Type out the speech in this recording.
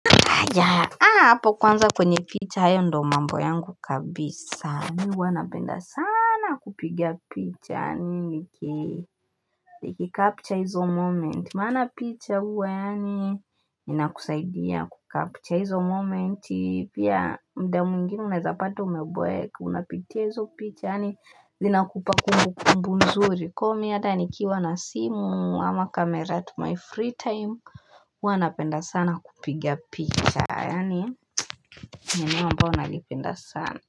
Aya, hapo kwanza kwenye picha ayo ndo mambo yangu kabisa. Ni wanapenda sana kupiga picha. Ni kikapture hizo moment. Maana picha huwa yani. Ni nakusaidia kuka picha hizo moment. Yeah muda mwingine unawezapata umeboeka. Unapitia hizo picha. Ni zinakupa kumbukumbu nzuri. Komi hate nikiiwa na simu ama kamera at my free time. Huwanapenda sana kupiga picha yani nineno ambalo nalipenda sana.